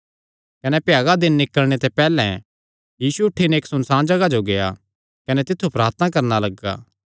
कने भ्यागा दिन निकल़णे ते बड़ी पैहल्लैं यीशु उठी नैं इक्क सुनसाण जगाह जो गेआ कने तित्थु प्रार्थना करणा लग्गा